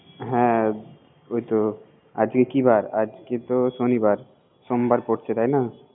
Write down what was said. হ্যা আজকে কি বার? আজকে তো সনিবার। সোমবার পরছে তাই না